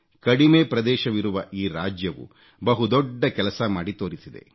ಕಡಿಮೆ ಪ್ರದೇಶವಿರುವ ಈ ರಾಜ್ಯವು ಬಹು ದೊಡ್ಡ ಕೆಲಸ ಮಾಡಿ ತೋರಿಸಿದೆ